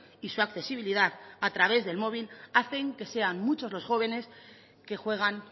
y su accesibilidad a través del móvil hacen que sean muchos los jóvenes que juegan